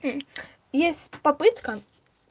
мм есть попытка